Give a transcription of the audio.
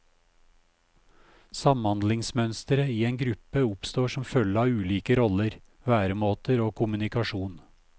Samhandlingsmønstre i en gruppe oppstår som følge av ulike roller, væremåter og kommunikasjon.